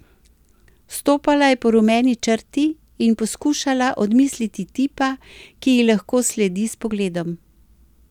Stopala je po rumeni črti in poskušala odmisliti tipa, ki ji lahko sledi s pogledom.